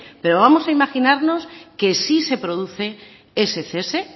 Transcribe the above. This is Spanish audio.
pero vamos a imaginarnos que sí se produce ese cese